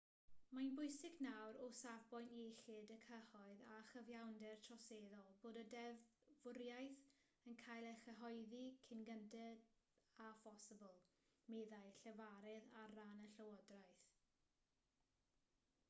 mae'n bwysig nawr o safbwynt iechyd y cyhoedd a chyfiawnder troseddol bod y ddeddfwriaeth yn cael ei chyhoeddi cyn gynted â phosibl meddai llefarydd ar ran y llywodraeth